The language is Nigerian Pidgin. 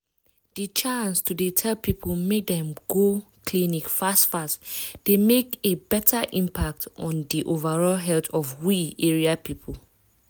di chance to dey tell people make dem go clinic fast fast dey make a beta impact on di overall health of we area people.